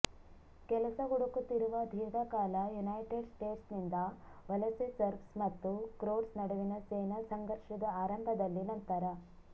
ಕೆಲಸ ಹುಡುಕುತ್ತಿರುವ ದೀರ್ಘಕಾಲ ಯುನೈಟೆಡ್ ಸ್ಟೇಟ್ಸ್ ನಿಂದ ವಲಸೆ ಸರ್ಬ್ಸ್ ಮತ್ತು ಕ್ರೋಟ್ಸ್ ನಡುವಿನ ಸೇನಾ ಸಂಘರ್ಷದ ಆರಂಭದಲ್ಲಿ ನಂತರ